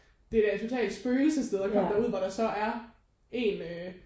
Det er da et totalt spøgelsessted at komme derud hvor der så er en øh